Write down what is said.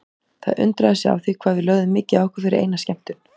Það undraði sig á því hvað við lögðum mikið á okkur fyrir eina skemmtun.